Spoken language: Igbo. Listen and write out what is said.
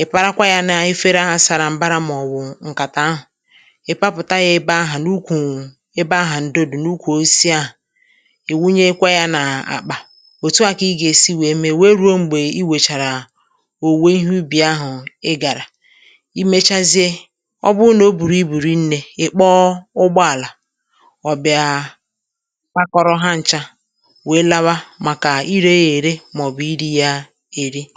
ị̀ parakwa yā n’efere ahà sara m̀bara màọ̀bụ̀ ṅ̀kàtà ahụ̀ ị̀ papụ̀ta yā ebe ahà n’ukwù ebe ahà ǹdo dị̀ n’ukwù osisi ahà ị̀ wunyekwa yā n’àkpà òtu à kà ị gà-èsi wèe mee wèe ruo m̀gbè i wèchàrà òwùwè ihe ubì ahụ ị gàrà i mechazie ọ bụrụ nà o bùrù ibù rinnē ị̀ kpọọ ụgbọàlà ọ bịa kwakọrọ ha n̄chā wèe lawa màkà irē yā ère màọ̀bụ̀ irī yā èri i